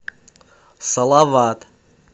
салават